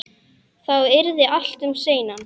Þá yrði allt um seinan.